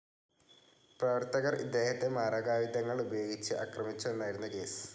പ്രവർത്തകർ ഇദ്ദേഹത്തെ മാരകായുധങ്ങൾ ഉപയോഗിച്ച് ആക്രമിച്ചുവെന്നായിരുന്നു കേസ്